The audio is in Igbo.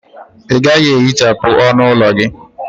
Ị gaghị ehichapụ ọnụ ụlọ gị?